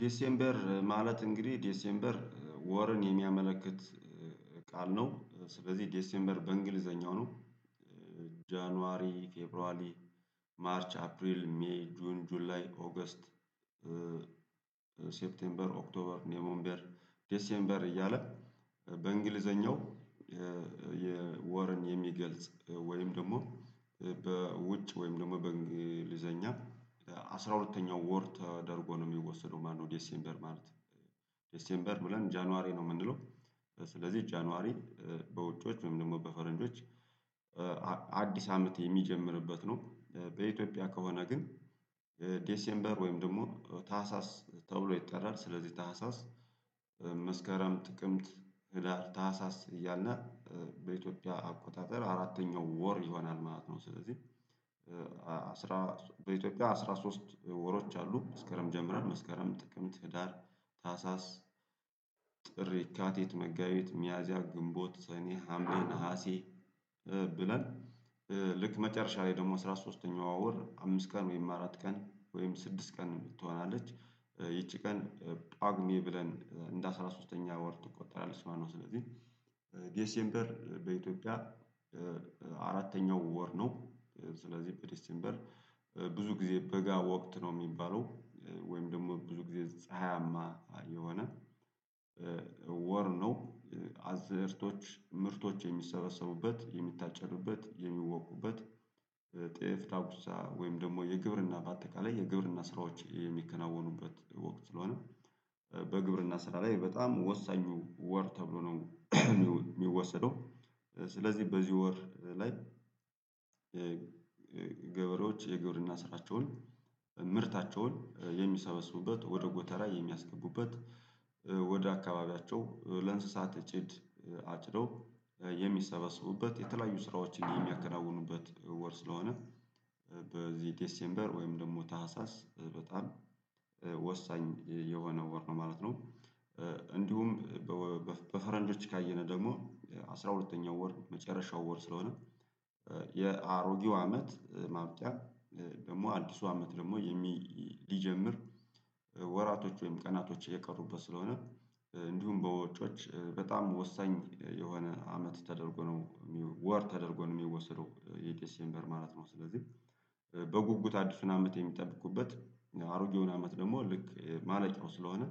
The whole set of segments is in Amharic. ዴሴምበር ማለት እንግዲህ ዴሴምበር ወርን የሚያመለክት ቃል ነው። ስለዚህ ዴሴምበር በእንግሊዘኛው ነው። ጃንዋሪ፣ ፌብሯሊ፣ ማርች፣ አፕሪል፣ ሜይ፣ ጁን፣ ጁላን፣ ኦገስት ሴፕቴምበር፣ ኦክቶበር፣ ኔሞበር፣ ዴሴምበር እያለ በእንግሊዘኛው የወርን የሚገልጽ ወይም ደግሞ በውጭ ወይም ደግሞ በእንግሊዘኛ አስራ ሁለተኛው ወር ተደርጎ ነው የሚወሰደው ማነው ዴሴምበር ማለት። ዴሴምበር ብለን ጃንዋሪ ነው የምንለው ስለዚህ ጃንዋሪ በውጪዎች ምንም ደግሞ በፈረንጆች አዲስ አመት የሚጀምርበት ነው። በኢትዮጵያ ከሆነ ግን ዴሴምበር ወይም ደግሞ ታህሳስ ተብሎ ይጠራል። ስለዚህ ታህሳስ መስከረም፣ ጥቅምት፣ ህዳር፣ ታህሳስ እያልነ በኢትዮጵያ አቆጣጠር አራተኛው ወር ይሆናል ማለት ነው። ስለዚህ በኢትዮጵያ አስራ ሶስት ወሮች አሉ። መስከረም ጀምረን መስከረም፣ ጥቅምት፣ ህዳር፣ ታህሳስ፣ ጥር፣ የካቲት፣ መጋቢት፣ ሚያዚያ፣ ግንቦት፣ ሰኔ፣ ሀምሌ፣ ነሀሴ ብለን ልክ መጨረሻ ላይ ደግሞ አስራ ሶስተኛው ወር አምስት ቀን ወይም አራት ቀን ወይም ስድስት ቀን ትሆናለች ይቺ ቀን ጳጉሜ ብለን እንደ አስራ ሶስተኛ ወር ትቆጠራለች ማለት ነው። ስለዚህ ዴሴምበር በኢትዮጵያ አራተኛው ወር ነው ስለዚህ በዲስቴምበር ብዙ ጊዜ በጋ ወቅት ነው የሚባለው ወይም ደግሞ ብዙ ጊዜ ፀሀያማ የሆነ ወር ነው። አዝእርቶች ምርቶች የሚሰበሰቡበት የሚታጨዱበት የሚወቁበት ጤፍ፣ ዳኩሳ ወይም ደግሞ የግብርና በአጠቃላይ የግብርና ስራዎች የሚከናወኑበት ወቅት ስለሆነ በግብርና ስራ ላይ በጣም ወሳኙ ወር ተብሎ ነው የሚወሰደው። ስለዚህ በዚህ ወር ላይ ገበሬዎች የግብርና ስራቸውን ምርታቸውን የሚሰበስቡበት ወደ ጎተራ የሚያስገቡበት ወደ አካባቢያቸው ለእንስሳት ጭድ አጭደው የሚሰበስቡበት የተለያዩ ስራዎችን የሚያከናውኑበት ወር ስለሆነ በዚህ ዴሴምበር ወይም ደግሞ ታህሳስ በጣም ወሳኝ የሆነ ወር ነው ማለት ነው። እንዲሁም በፈረንጆች ካየነ ደግሞ አስራ ሁለተኛው ወር መጨረሻው ወር ስለሆነ የአሮጌው አመት ማብቂያ ደግሞ አዲሱ አመት ደግሞ የሚ ሊጀምር ወራቶች ወይም ቀናቶች የቀሩበት ስለሆነ እንዲሁም በወጮች በጣም ወሳኝ የሆነ አመት ተደርጎ ነው ወር ተደርጎ ነው የሚወስደው የዴሴምበር ማለት ነው። ስለዚህ በጉጉት አዲሱን አመት የሚጠብቁበት አሮጌውን አመት ደግሞ ልክ ማለቂያው ስለሆነ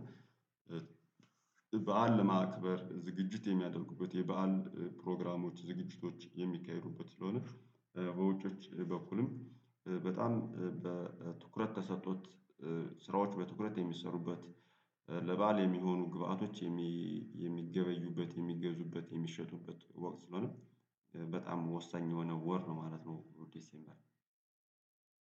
በዓል ለማክበር ዝግጅት የሚያደርጉበት የበአል ፕሮግራሞች ዝግጅቶች የሚካሄዱበት ስለሆነ በውጮዎች በኩልም በጣም በትኩረት ተሰጥቶት ስራዎች በትኩረት የሚሰሩበት፣ ለበአል የሚሆኑ ግብአቶች የሚገበዩበት፣ የሚገዙበት፣ የሚሸጡበት ወቅት ስለሆነ በጣም ወሳኝ የሆነ ወር ነው ማለት ነው ዲሴምበር።